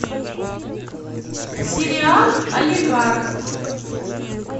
сериал олигарх